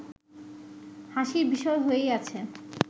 হাসির বিষয় হয়েই আছে